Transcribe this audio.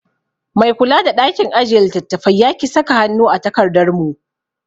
Mai kula da ɗakin ajiye littattafai yaki saka hannu a takardar mu